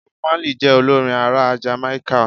Bob Marley je olorin ara Jamáíkà